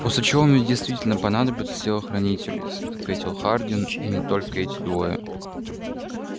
после чего мне действительно понадобятся телохранители ответил хардин и не только эти двое